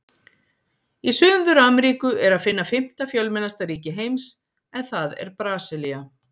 Í Suður-Ameríku er að finna fimmta fjölmennasta ríki heims, en það er Brasilía.